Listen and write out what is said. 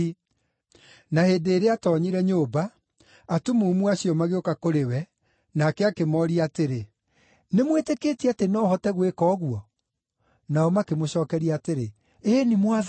Na hĩndĩ ĩrĩa aatoonyire nyũmba, atumumu acio magĩũka kũrĩ we, nake akĩmooria atĩrĩ, “Nĩmwĩtĩkĩtie atĩ no hote gwĩka ũguo?” Nao makĩmũcookeria atĩrĩ, “Ĩĩ-ni, Mwathani.”